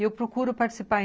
E eu procuro participar.